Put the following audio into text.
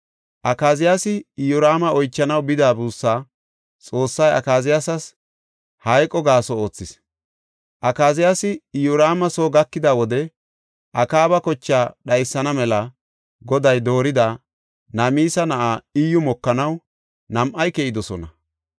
Akaziyaasi Iyoraama oychanaw bida buussaa, Xoossay Akaziyaasas hayqo gaaso oothis. Akaziyaasi Iyoraama soo gakida wode Akaaba kochaa dhaysana mela Goday doorida, Namisa na7aa Iyyu, mokanaw nam7ay keyidosona.